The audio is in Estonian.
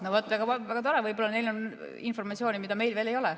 No vaat, väga tore, võib-olla neil on informatsiooni, mida meil veel ei ole.